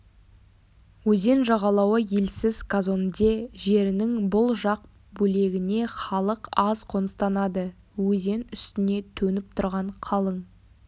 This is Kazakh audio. өзен жағалауы елсіз казонде жерінің бұл жақ бөлегіне халық аз қоныстанады өзен үстіне төніп тұрған қалың